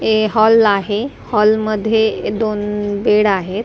ते हॉल आहे हॉलमध्ये दोन बेड आहेत .